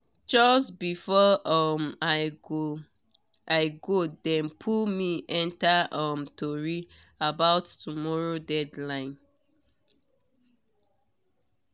just before um i go dem pull me enter um tori about tomorrow deadline.